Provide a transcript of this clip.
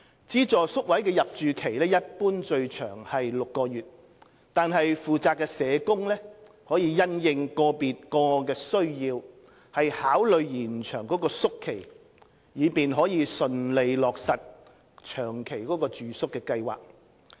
資助宿位的入住期一般最長為6個月，惟負責社工可因應個別個案的需要考慮延長宿期，以便順利落實長期住宿計劃。